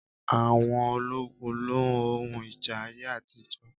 Àwọn ológun n lo ohun ìjà ayé àtijọ́